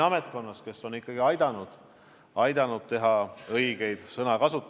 Ametnikkond on ikka aidanud õigesti sõnu seada.